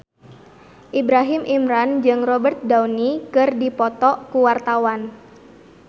Ibrahim Imran jeung Robert Downey keur dipoto ku wartawan